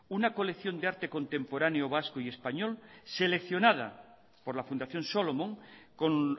una colección de arte contemporáneo vasco y español seleccionada por la fundación solomon con